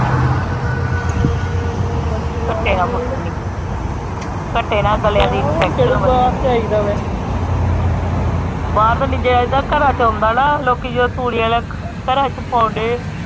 ਹਮ ਘਟ ਨਾਲ ਘੱਟੇ ਨਾਲ ਗਲੇਆਂ ਦੀ infection ਜਾਇਦਾ ਵੈਸੇ ਬਾਹਰ ਤੇ ਨਹੀਂ ਜਾਇਦਾ ਘਰਾਂ ਚ ਆਉਂਦਾ ਨਾ ਲੋਕੀ ਜਦੋਂ ਤੂੜੀਆਂ ਘਰਾਂ ਚ ਪਾਉਂਦੇ ਆ।